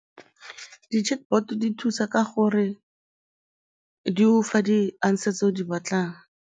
Di-chatbot di thusa ka gore di go fa di-answer tse o di batlang.